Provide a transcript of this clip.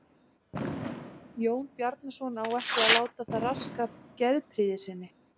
Jón Bjarnason á ekki að láta það raska geðprýði sinni.